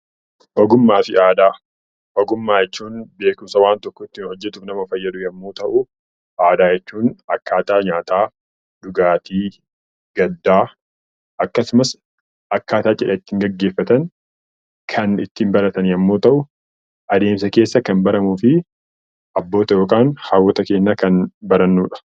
Ogummaa jechuun beekumsa waan tokko ittiin hojjachuudhaaf nama fayyadu yommuu ta'u, aadaa jechuun akkaataa nyaataa, dhugaatii, gaddaa akkasumas akkaataa cidha ittiin gaggeeffatan kan ittiin baratan yoo ta'u, adeemsa keessa abbootaa fi haadholii keenyarraa kan baramudha.